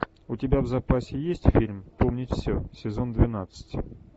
у тебя в запасе есть фильм помнить все сезон двенадцать